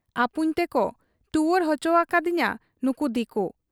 ᱟᱹᱯᱩᱧ ᱛᱮᱠᱚ ᱴᱩᱣᱟᱹᱨ ᱚᱪᱚᱣᱟᱠᱟᱫ ᱤᱧᱟ ᱱᱩᱠᱩ ᱫᱤᱠᱩ ᱾